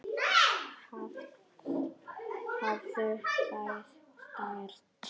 Hafðu það sterkt.